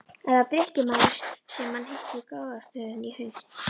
Er það drykkjumaðurinn sem hann hitti í gróðrarstöðinni í haust?